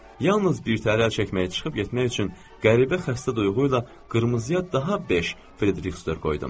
Yalnız birtəhər əl çəkməyə çıxıb getmək üçün qəribə xəstə duyğuyla qırmızıya daha beş friktor qoydum.